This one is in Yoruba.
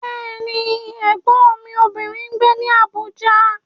Bẹ́ẹ̀ni, Ẹ̀gbọ́n mi obìnrin ń gbé ní Abuja.